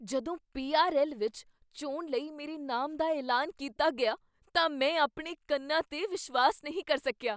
ਜਦੋਂ ਪੀ.ਆਰ.ਐੱਲ. ਵਿੱਚ ਚੋਣ ਲਈ ਮੇਰੇ ਨਾਮ ਦਾ ਐਲਾਨ ਕੀਤਾ ਗਿਆ ਤਾਂ ਮੈਂ ਆਪਣੇ ਕੰਨਾਂ 'ਤੇ ਵਿਸ਼ਵਾਸ ਨਹੀਂ ਕਰ ਸਕਿਆ !